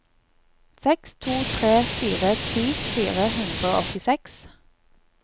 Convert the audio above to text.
seks to tre fire ti fire hundre og åttiseks